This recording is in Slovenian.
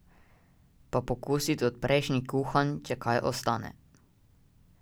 Pa pokusit od prejšnjih kuhanj, če kaj ostane.